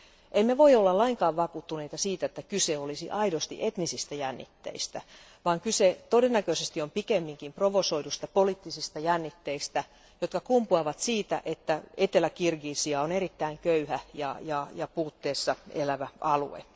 Emme voi olla lainkaan vakuuttuneita siitä, että kyse olisi aidosti etnisistä jännitteistä, vaan kyse todennäköisesti on pikemminkin provosoiduista poliittisista jännitteistä, jotka kumpuavat siitä, että Etelä Kirgisia on erittäin köyhä ja puutteessa elävä alue.